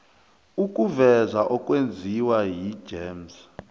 ukuveza okwenziwa yigems